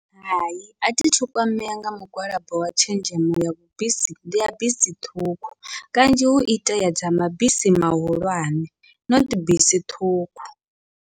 Hai athi thu kwamea nga mugwalabo wa tshenzhemo ya vhu bisi ya bisi ṱhukhu, kanzhi hu itea dza mabisi mahulwane not bisi ṱhukhu.